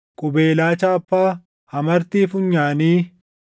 qubeelaa chaappaa, amartii funyaanii